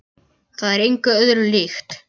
Það er engu öðru líkt.